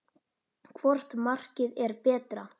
Hvort markið er betra?